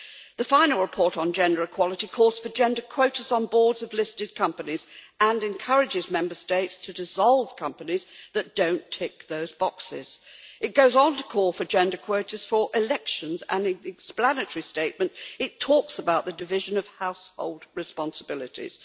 The final report on gender equality calls for gender quotas on boards of listed companies and encourages Member States to dissolve companies that do not tick those boxes. It goes on to call for gender quotas for elections and in the explanatory statement it talks about the division of household responsibilities.